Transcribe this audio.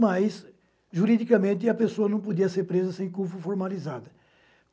Mas, juridicamente, a pessoa não podia ser presa sem culpa formalizada.